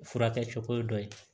Furakɛ cogo ye dɔ ye